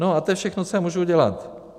No a to je všechno, co já můžu dělat.